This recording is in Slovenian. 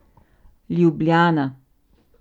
Ljubljana.